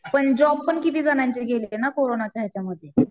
पण जॉबपण किती जणांची गेली आहे ना कोरोनाच्या हेच्यामध्ये.